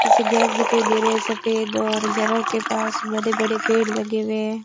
पीछे घर दिखाई दे रहे हैं सफेद और घरों के पास बड़े-बड़े पेड़ लगे हुए हैं।